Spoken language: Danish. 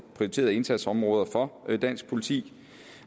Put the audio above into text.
prioriterede indsatsområder for dansk politi